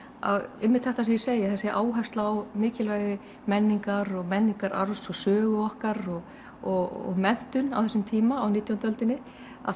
að einmitt þetta sem ég segi þessi áhersla á mikilvægi menningar og menningararfs og sögu okkar og og menntun á þessum tíma á nítjándu öldinni að